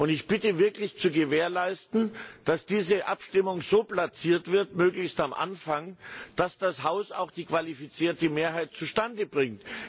Ich bitte wirklich zu gewährleisten, dass diese Abstimmung so platziert wird möglichst am Anfang der Abstimmungsstunde dass das Haus auch die qualifizierte Mehrheit zustande bringt.